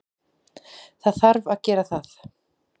Það þarf að gera það.